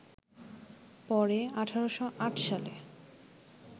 পরে ১৮০৮ সালে